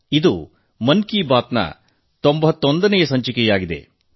ಇದು ಮನ್ ಕಿ ಬಾತ್ ನ 91ನೇ ಸಂಚಿಕೆಯಾಗಿದೆ